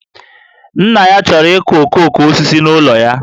Nna ya chọrọ ịkụ okooko osisi n'ụlọ ya